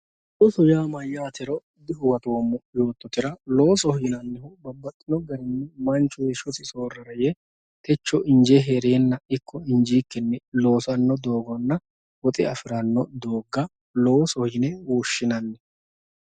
Looso yaa mayyatero dihuwattommo yoottotera, loosoho yinannihu babbaxxino garini manchu heeshshosi soorara yee techo inje heerenna ikko injikkini loossano dooguwanna woxe afirano dooga loosoho yine woshshinanni.